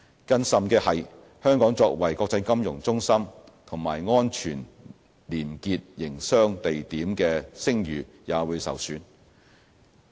更甚的是，香港作為國際金融中心和安全廉潔營商地點的聲譽也會受損。